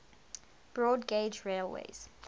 broad gauge railways